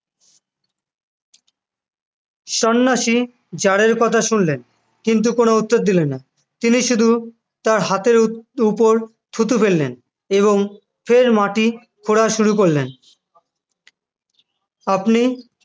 সন্ন্যাসী জারের কথা শুনলেন কিন্তু কোন উত্তর দিলেন না তিনি শুধু তার হাতের উপর থুতু ফেললেন এবং ফের মাটি খোঁড়া শুরু করলেন আপনি